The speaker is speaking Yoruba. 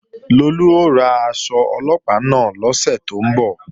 Lolú ó ra aṣọ Ọlọ́pàá náà lọ́sẹ̀ tó ń bọ̀